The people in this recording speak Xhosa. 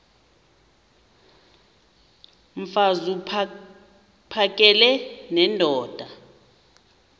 mfaz uphakele nendoda